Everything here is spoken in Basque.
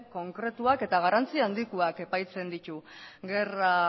konkretuak eta garrantzi handikoak epaitzen ditu gerra